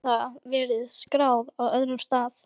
Þó gæti það verið skráð á öðrum stað.